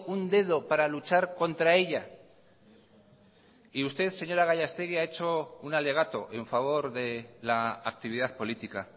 un dedo para luchar contra ella y usted señora gallastegui ha hecho un alegato en favor de la actividad política